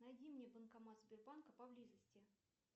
найди мне банкомат сбербанка поблизости